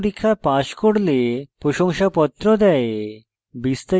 online পরীক্ষা pass করলে প্রশংসাপত্র দেয়